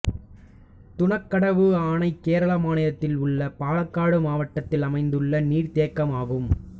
தூணக்கடவு அணை கேரள மாநிலத்தில் உள்ள பாலக்காடு மாவட்டத்தில் அமைந்துள்ள நீர்த்தேக்கமாகும்